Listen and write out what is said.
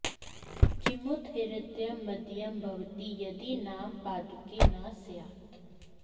किमुत हृदयं मदीयं भवती यदि नाम पादुके न स्यात्